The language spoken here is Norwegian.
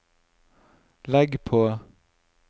legg på